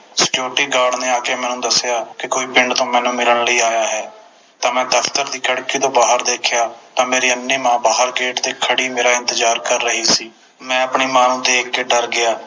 Security Guard ਨੇ ਆ ਕੇ ਮੈਨੂੰ ਦਸਿਆ ਕੇ ਪਿੰਡ ਤੋਂ ਕੋਈ ਮੈਨੂੰ ਮਿਲਣ ਲਈ ਆਇਆ ਹੈ ਤਾ ਮੈਂ ਦਫਤਰ ਦੀ ਖਿੜਕੀ ਤੋਂ ਬਾਹਰ ਦੇਖਿਆ ਤਾ ਮੇਰੀ ਅੰਨ੍ਹੀ ਮਾਂ ਗੇਟ ਤੇ ਬਾਹਰ ਖੜ੍ਹੀ ਮੇਰਾ ਇੰਤਜਾਰ ਕਰ ਰਹੀ ਸੀ ਮੈਂ ਆਪਣੀ ਮਾਂ ਨੂੰ ਦੇਖ ਕੇ ਡਰ ਗਿਆ